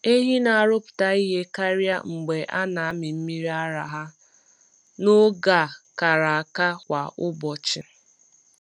Ehi na-arụpụta ihe karịa mgbe a na-amị mmiri ara ha n’oge a kara aka kwa ụbọchị.